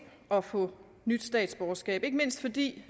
at få nyt statsborgerskab ikke mindst fordi